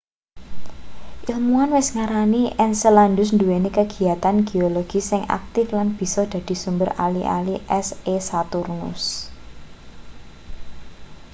ilmuwan wis ngarani enceladus nduweni kagiyatan geologis sing aktif lan bisa dadi sumber ali-ali es e saturnus